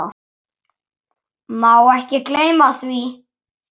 Má ekki gleyma því.